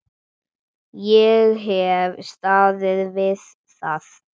Ég hef staðið við það.